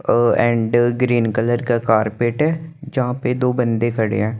ओ green colour का carpet है जहां पे दो बंदे खड़े हैं।